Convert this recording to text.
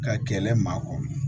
Ka kɛlɛ maa kɔrɔ